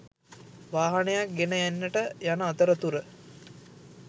වාහනයක් ගෙන එන්නට යන අතරතුර